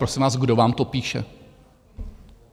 Prosím vás, kdo vám to píše?